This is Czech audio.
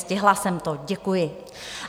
Stihla jsem to, děkuji.